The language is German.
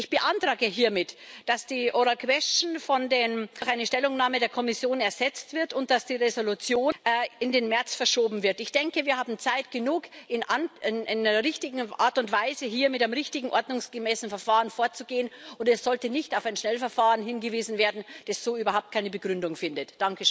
Ich beantrage hiermit, dass die Anfrage zur mündlichen Beantwortung durch eine Stellungnahme der Kommission ersetzt wird und dass die Entschließung in den März verschoben wird. Ich denke, wir haben Zeit genug, in einer richtigen Art und Weise hier mit einem richtigen, ordnungsgemäßen Verfahren vorzugehen. Es sollte nicht auf ein Schnellverfahren hingewiesen werden, das so überhaupt keine Begründung findet.